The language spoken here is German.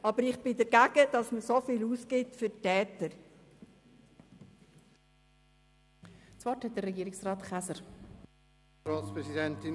Aber ich bin dagegen, dass man so viel für die Täter ausgibt.